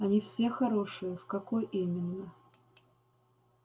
они все хорошие в какой именно